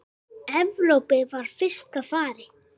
Evrópu frá fyrsta fari.